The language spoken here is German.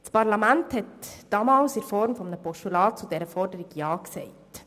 Das Parlament sagte damals Ja zu dieser Forderung in Form eines Postulats.